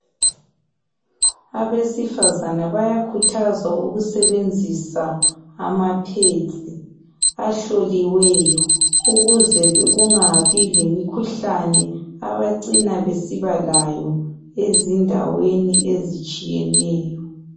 Abesifazana bayakhuthazwa ukusebenzisa amaphedzi ahloliweyo ukuze kungabi lemikhuhlane abacina besiba layo ezindaweni ezitshiyeneyo.